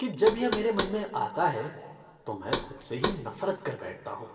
कि जब यह मेरे मन में आता है तो में खुद से ही नफ़रत कर बैठता हूँ।